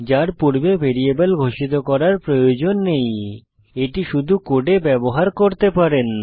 যার পূর্বে ভ্যারিয়েবল ঘোষিত করার দরকার নেই এটি শুধু কোডে ব্যবহার করতে পারেন